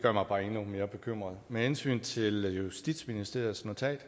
gør mig bare endnu mere bekymret med hensyn til justitsministeriets notat